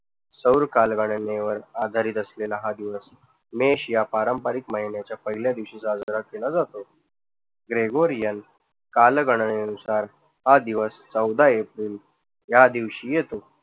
सौर कालगननेवर आधारित असलेला हा दिवस मेष या पारंपारिक महिन्याच्या पहिल्या दिवशी साजरा केला जातो. ग्रेगोरिअन कालगणनेनुसार हा दिवस चौदा एप्रिल ह्या दिवशी येतो.